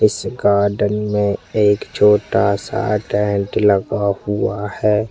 इस गार्डन में एक छोटा सा टेंट लगा हुआ है।